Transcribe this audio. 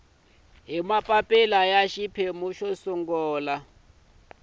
hi mapapila ya xiphemu xo